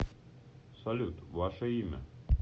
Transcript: салют ваше имя